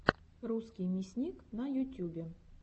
русский мясник на ютюбе